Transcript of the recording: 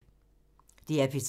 DR P3